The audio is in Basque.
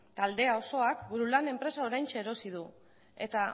taldea osoak burulan enpresa oraintxe erosi du eta